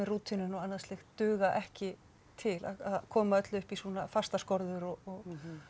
rútínuna og annað slíkt duga ekki til að koma öllu í svona fastar skorður og